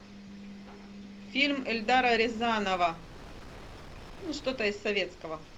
фильм эльдара рязанова ну что то из советского